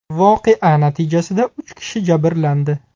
Voqea natijasida uch kishi jabrlandi.